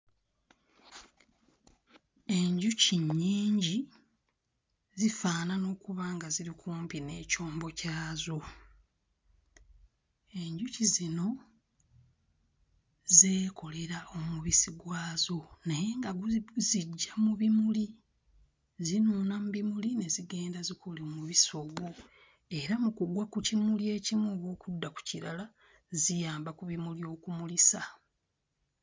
Enjuki nnyingi zifaanana okuba nga ziri kumpi n'ekyombo kyazo. Enjuki zino zeekolera omubisi gwazo naye nga gu guziggya mu bimuli zinuuna mu bimuli ne zigenda zikola omubisi ogwo era mu kugwa mu kimuli ekimu oba okudda ku kirala ziyamba ku bimuli okumulisa.